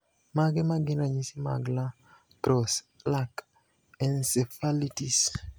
Mage magin ranyisi mag La Crosse (LAC) encephalitis?